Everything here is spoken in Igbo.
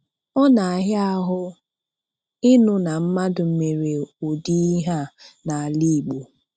Ọ na-ahịa ahụ ịnụ na mmadụ mere ụdị ihe a n'ala Igbo.